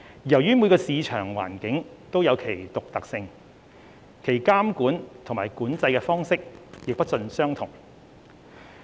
由於每個市場環境都有其獨特性，其監控及管制的方式亦不盡相同。